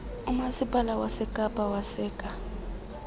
umaspala wasekapa waseka